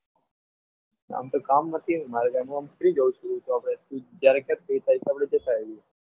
આમ તો કામ નથી મારે કંઈ free જ હોવું છું હું આપણે જ્યારે તું કે ત્યારે જતા આવીએ.